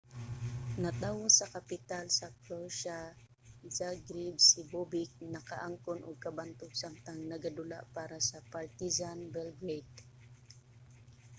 natawo sa kapital sa croatia zagreb si bobek nakaangkon og kabantog samtang nagadula para sa partizan belgrade